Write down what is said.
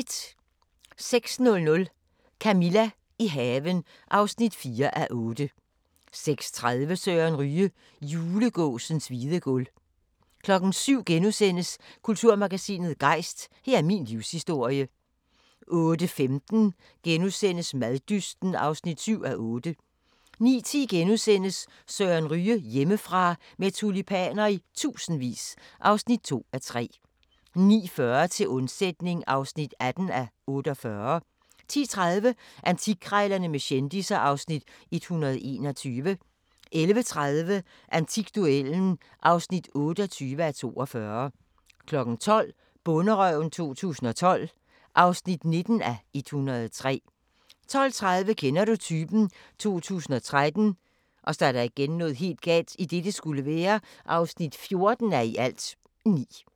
06:00: Camilla – i haven (4:8) 06:30: Søren Ryge: Julegåsens hvide guld 07:00: Kulturmagasinet Gejst: Her er min livshistorie * 08:15: Maddysten (7:8)* 09:10: Søren Ryge: Hjemmefra – med tulipaner i tusindvis (2:3)* 09:40: Til undsætning (18:48) 10:30: Antikkrejlerne med kendisser (Afs. 121) 11:30: Antikduellen (28:42) 12:00: Bonderøven 2012 (19:103) 12:30: Kender du typen? 2013 (14:9)